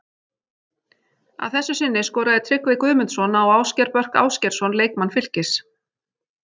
Að þessu sinni skoraði Tryggvi Guðmundsson á Ásgeir Börk Ásgeirsson leikmann Fylkis.